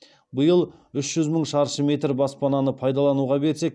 биыл үш жүз мың шаршы метр баспананы пайдалануға берсек